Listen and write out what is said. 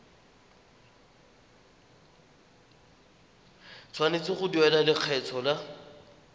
tshwanetse go duela lekgetho la